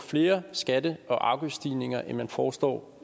flere skatte og afgiftsstigninger end man foreslår